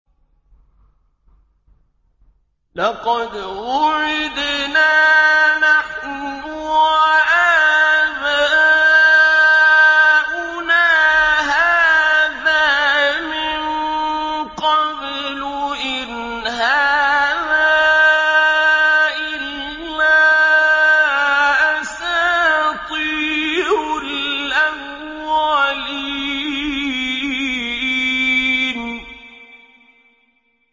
لَقَدْ وُعِدْنَا نَحْنُ وَآبَاؤُنَا هَٰذَا مِن قَبْلُ إِنْ هَٰذَا إِلَّا أَسَاطِيرُ الْأَوَّلِينَ